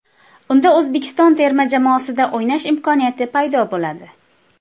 Unda O‘zbekiston terma jamoasida o‘ynash imkoniyati paydo bo‘ladi.